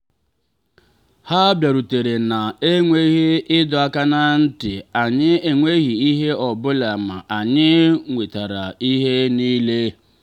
ha bịarutere na-enweghị ịdọ aka ná ntị anyị enwetaghị ihe ọ bụla ma anyị nwetara ihe niile.